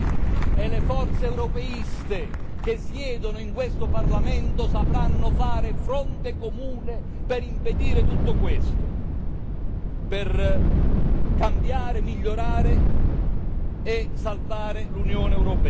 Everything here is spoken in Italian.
E le forze europeiste che siedono in questo Parlamento sapranno fare fronte comune per impedire tutto questo, per cambiare, migliorare e salvare l'Unione europea.